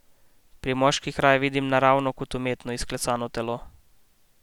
Pri moških raje vidim naravno kot umetno izklesano telo.